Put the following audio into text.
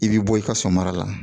I bi bɔ i ka so mara la